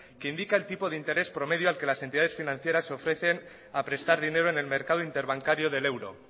que indica el tipo interés promedio al que las entidades financieras ofrecen a prestar dinero en el mercado interbancario del euro